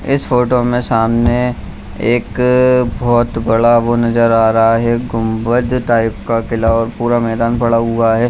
इस फोटो में सामने एक बहुत बड़ा वो नजर आ रहा है गुम्बद टाइप का किला और पूरा मैदान पड़ा हुआ है।